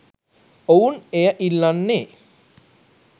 ඔවුන් එය ඉල්ලන්නේ.